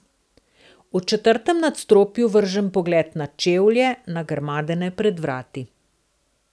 V četrtem nadstropju vržem pogled na čevlje, nagrmadene pred vrati.